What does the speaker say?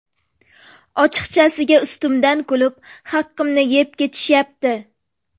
Ochiqchasiga ustimdan kulib, haqimni yeb ketishyapti.